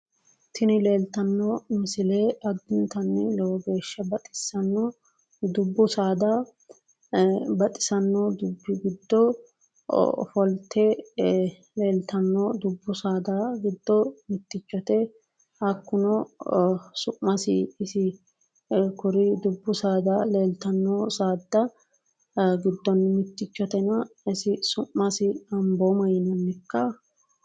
Tini leelitano misile addinitanni baxisano dubbu saada baxisano dubbi giddo ofolite leelitano dubbu saada giddo mitichote hakkuno su'masi ambooma yinannika